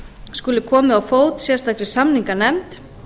skuli komið á fót sérstakri samninganefnd